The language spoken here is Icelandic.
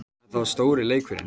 Þetta var stóri leikurinn